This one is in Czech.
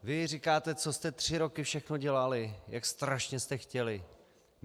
Vy říkáte, co jste tři roky všechno dělali, jak strašně jste chtěli.